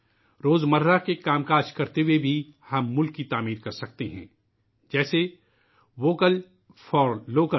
روز مرہ کے کام کرتے ہوئے بھی ہم قوم کی تعمیر کر سکتے ہیں ، جیسے ووکل فار لوکل